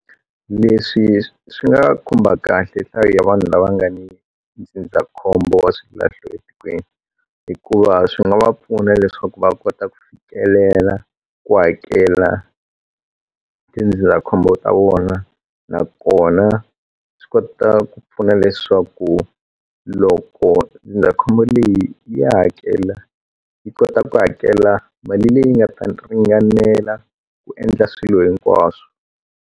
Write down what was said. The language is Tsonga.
Leswi swi nga khumba kahle nhlayo ya vanhu lava nga ni ndzindzakhombo wa swilahlo etikweni hikuva swi nga va pfuna leswaku va kota ku fikelela ku hakela tindzindzakhombo ta vona na kona swi kota ku pfuna leswaku loko ndzindzakhombo leyi ya hakela yi kota ku hakela mali leyi nga ta ringanela ku endla swilo hinkwaswo.